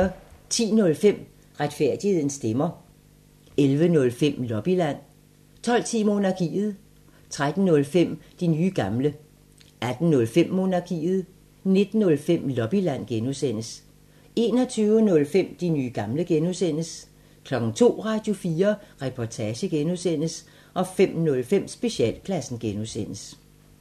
10:05: Retfærdighedens stemmer 11:05: Lobbyland 12:10: Monarkiet 13:05: De nye gamle 18:05: Monarkiet 19:05: Lobbyland (G) 21:05: De nye gamle (G) 02:00: Radio4 Reportage (G) 05:05: Specialklassen (G)